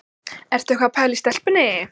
Ertu eitthvað að pæla í stelpunni?